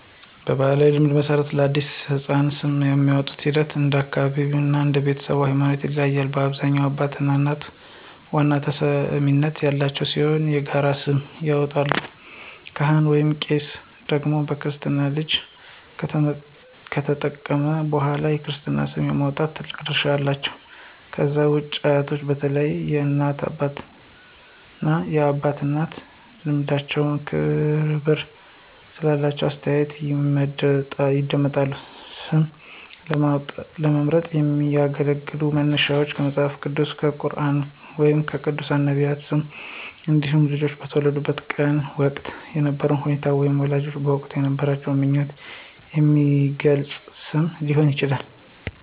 በባሕላዊ ልማድ መሠረት፣ ለአዲስ የተወለደ ሕፃን ስም የማውጣቱ ሂደት እንደ አካባቢው እና እንደ ቤተሰቡ ሃይማኖት ይለያያል። በአብዛኛው አባትና እናት ዋና ተሰሚነት ያላቸው ሲሆን የጋራ ስም ይመርጣሉ። ካህን/ቄስ ደግሞ በክርስትና ልጁ ከተጠመቀ በኋላ የክርስትና ስም የማውጣት ትልቅ ድርሻ አላቸው። ከዛ ውጪ አያቶች በተለይም የእናት አባትና የአባት እናት ልምዳቸውና ክብር ስላላቸው አስተያየታቸው ይደመጣል። ስም ለመምረጥ የሚያገለግሉ መነሻዎች ከመጽሐፍ ቅዱስ፣ ከቁርኣን ወይም ከቅዱሳን/ነቢያት ስሞች እንዲሁም ልጁ በተወለደበት ወቅት የነበረውን ሁኔታ ወይም ወላጆች በወቅቱ የነበራቸውን ምኞት የሚገልጽ ስም ሊሆን ይችላል።